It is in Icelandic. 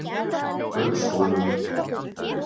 Gaukshólum